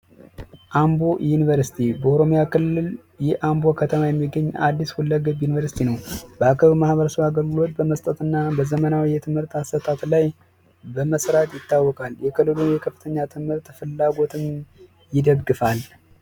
የአምቦ ከተማ አዲስ ዩኒቨርሲቲ መስጠትና በዘመናዊ የትምህርት አሰጣጥ ላይ በመስራት ይታወቃል የክልሉን የትምህርት ፍላጎት ይደግፋል